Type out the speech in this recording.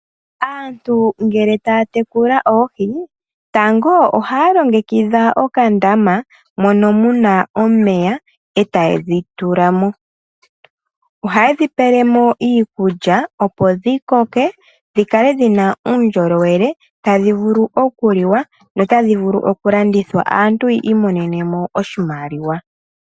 Aantu ngele taya tekula oohi, tango ohaya longekidha okandama mono mu na omeya e taye dhi tulamo, oha ye dhi pelemo iikulya opo dhi koke dhi kale dhi na uundjolowele tadhi vulu okuliwa no tadhi vulu okulandithwa aantu yi imonenemo oshimaliwa.